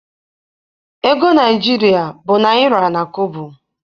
Ego Naịjirịa bụ naịra na kobo.